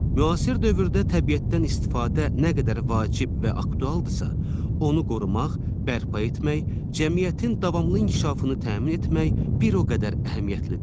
Müasir dövrdə təbiətdən istifadə nə qədər vacib və aktuallıqdırsa, onu qorumaq, bərpa etmək, cəmiyyətin davamlı inkişafını təmin etmək bir o qədər əhəmiyyətlidir.